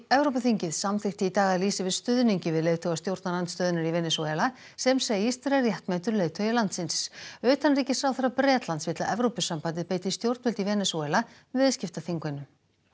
Evrópuþingið samþykkti í dag að lýsa yfir stuðningi við leiðtoga stjórnarandstöðunnar í Venesúela sem segist vera réttmætur leiðtogi landsins utanríkisráðherra Bretlands vill að Evrópusambandið beiti stjórnvöld í Venesúela viðskiptaþvingunum